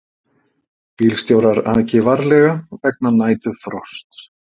Bílstjórar aki varlega vegna næturfrosts